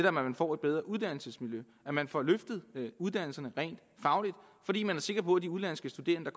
at man får et bedre uddannelsesmiljø at man får løftet uddannelserne rent fagligt fordi man er sikker på at de udenlandske studerende